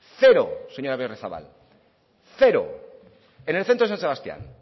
cero señora berriozabal en el centro de san sebastián